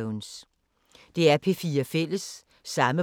DR P4 Fælles